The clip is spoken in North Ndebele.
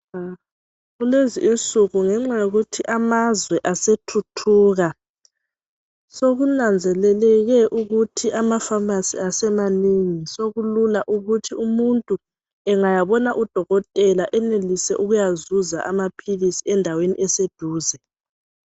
Kulezinsuku ngenxa yokuthi amazwe asethuthuka, sokunanzeleleke ukuthi ama phamarcy asemanengi sokulula ukuthi umuntu engayabona udokotela enelise ukuyazuza amaphilisi endaweni eseduze